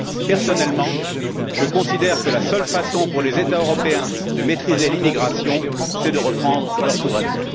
Personnellement, je considère que la seule façon pour les États européens de maîtriser l'immigration est de reprendre leur souveraineté.